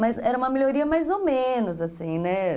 Mas era uma melhoria mais ou menos, assim, né?